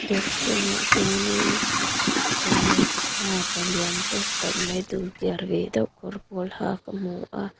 dawr chhung ah chuanin dawr nei tupa palian tawk tak mai dulkiar ve deuh kawr pawl ha ka hmu a.